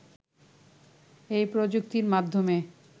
এ প্রযুক্তির মাধ্যমে